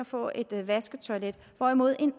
få et vasketoilet hvorimod en